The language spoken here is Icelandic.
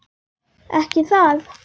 Ekki það.?